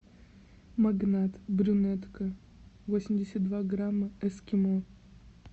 магнат брюнетка восемьдесят два грамма эскимо